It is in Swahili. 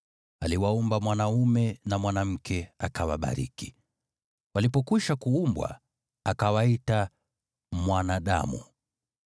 Aliwaumba mwanaume na mwanamke, akawabariki. Walipokwisha kuumbwa, akawaita “mwanadamu.”